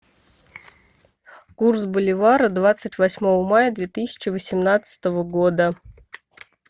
курс боливара двадцать восьмого мая две тысячи восемнадцатого года